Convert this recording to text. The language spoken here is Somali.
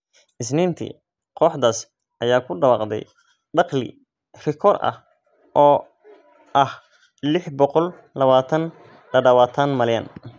Isniintii, kooxdaas ayaa ku dhawaaqday dakhli rikoor ah oo ah lix boqol lawatan dadawatan malyan.